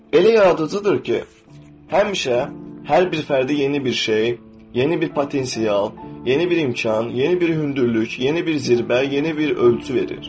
Elə yaradıcıdır ki, həmişə hər bir fərdə yeni bir şey, yeni bir potensial, yeni bir imkan, yeni bir hündürlük, yeni bir zirvə, yeni bir ölçü verir.